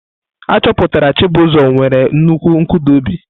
Achọpụtara Chibuzo nwere nnukwu nkụda obi.